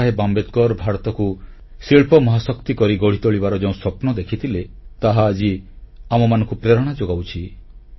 ବାବାସାହେବ ଆମ୍ବେଦକର ଭାରତକୁ ଶିଳ୍ପ ମହାଶକ୍ତି କରି ଗଢ଼ି ତୋଳିବାର ଯେଉଁ ସ୍ୱପ୍ନ ଦେଖିଥିଲେ ତାହା ଆଜି ଆମମାନଙ୍କୁ ପ୍ରେରଣା ଯୋଗାଉଛି